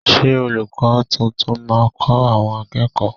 Ṣé olùkó tuntun máa kọ àwọn akẹ́kọ̀ọ́?